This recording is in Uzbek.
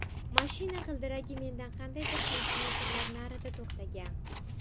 Mashina g‘ildiragi mendan qandaydir santimetrlar narida to‘xtagan.